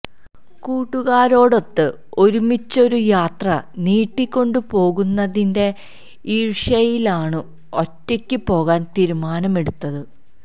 കൂട്ടുകാരോടൊത്ത് ഒരുമിച്ചൊരു യാത്ര നീട്ടി കൊണ്ടു പോകുന്നതിന്റെ ഈർഷ്യയിലാണു ഒറ്റയ്ക്ക് പോകാൻ തീരുമാനമെടുത്തത്